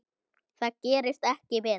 Það gerist ekki betra.